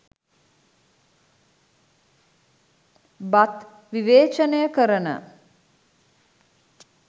බත් විවේචනය කරන